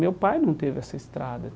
Meu pai não teve essa estrada.